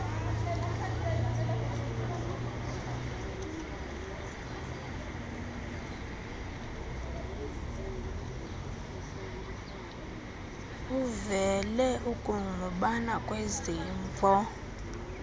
kuvele ukungqubana kwezimvo